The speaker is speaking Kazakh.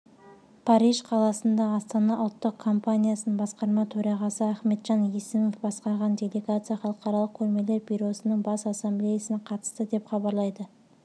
париж қаласында астана ұлттық компаниясының басқарма төрағасы ахметжан есімов басқарған делегация халықаралық көрмелер бюросының бас ассамблеясына қатысты деп хабарлайды